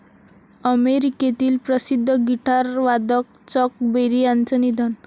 अमेरिकेतील प्रसिद्ध गिटारवादक चक बेरी यांचं निधन